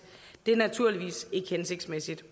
det er naturligvis ikke hensigtsmæssigt